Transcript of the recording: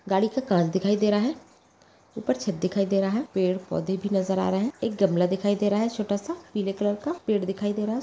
गाड़ी का कांच दिखाई दे रहा है ऊपर छत दिखाई दे रहा है पेड़-पौधे भी नजर आ रहे है एक गमला भी दिखाई दे रहा है छोटा सा पीले कलर का पेड़ दिखाई दे रहा है।